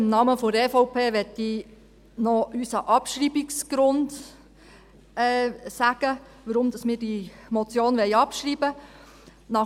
Im Namen der EVP möchte ich noch den Grund nennen, weshalb wir diese Motion abschreiben wollen.